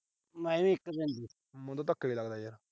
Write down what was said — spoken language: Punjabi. ਮੈਨੂੰ ਤਾਂ ਧੱਕਾ ਈ ਲੱਗਦਾ ਯਾਰ।